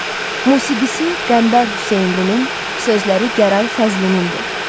Musiqisi Qəmbər Hüseynlinin, sözləri Gəray Fəzlinindir.